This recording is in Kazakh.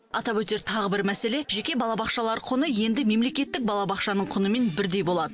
атап өтер тағы бір мәселе жеке балабақшалар құны енді мемлекеттік балабақшаның құнымен бірдей болады